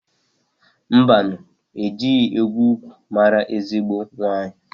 Mbanụ! Ejighi egwu ukwu maara ezigbo nwaanyị.